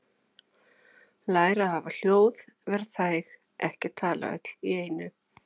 Læra að hafa hljóð- vera þæg- ekki tala öll í einu